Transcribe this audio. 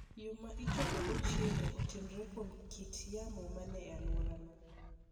Yo ma ichokogo chiemo otenore kuom kit yamo ma ni e alworano.